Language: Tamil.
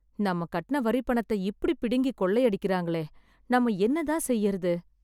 நம்ம கட்டுன வரிப்பணத்த இப்பிடி பிடுங்கி கொள்ளை அடிக்கறாங்களே நம்ம என்னதான் செய்யறது